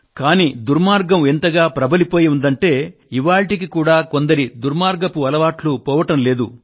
కానీ దుర్మార్గం ఎంతగా ప్రబలిపోయి ఉందంటే ఇవాళ్టికి కూడా కొందరి దుర్మార్గపు అలవాట్లు పోవడం లేదు